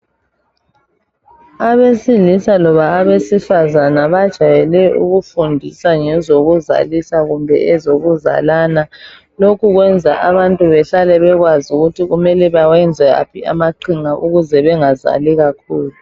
Abesilisa loba abesifazana bajayele ukufundisa ngezokuzalisa, kumbe ezokuzalana. Lokhu kwenza abantu bahlale bekwazi ukuthi benze waphi amaqhinga ukuze bangazali kakhulu.